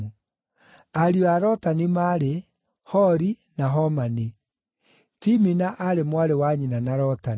Ariũ a Lotani maarĩ: Hori, na Homani. Timina aarĩ mwarĩ wa nyina na Lotani.